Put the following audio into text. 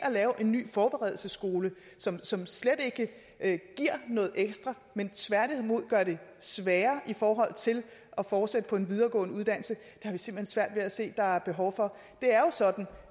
at lave en ny forberedelsesskole som som slet ikke giver noget ekstra men tværtimod gør det sværere i forhold til at fortsætte på en videregående uddannelse har vi simpelt hen svært ved at se der er behov for det er jo sådan